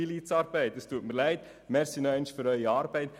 Es tut mir leid, aber danke nochmals für Ihre Arbeit.